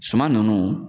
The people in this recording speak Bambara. Suman nunnu